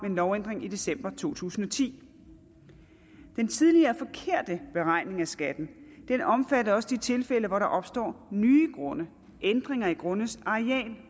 en lovændring i december to tusind og ti den tidligere forkerte beregning af skatten omfatter også de tilfælde hvor der opstår nye grunde ændringer i grundes areal